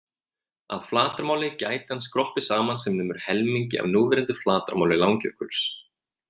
Að flatarmáli gæti hann skroppið saman sem nemur helmingi af núverandi flatarmáli Langjökuls.